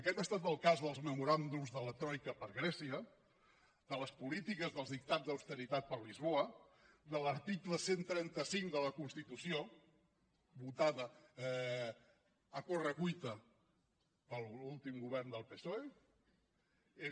aquest ha estat el cas dels memoràndums de la troica per a grècia de les polítiques dels dictats d’austeritat per a lisboa de l’article cent i trenta cinc de la constitució votat a correcuita per l’últim govern del psoe